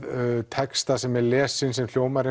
texta sem er lesinn sem hljómar